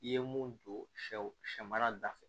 I ye mun don sɛw sɛ mara da fɛ